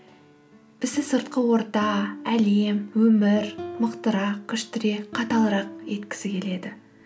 бізді сыртқы орта әлем өмір мықтырақ күштірек қаталырақ еткісі келеді